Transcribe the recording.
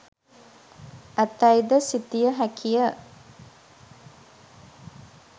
ඇතැයි ද සිතිය හැකිය.